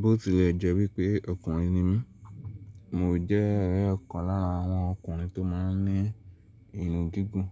Bóòtù lẹ̀ jẹ́ wípé ọkùnrin ni mí. Mo jẹ́ ore ikan lára àwọn ọkùnrin tó máa ń ní irun gígùn.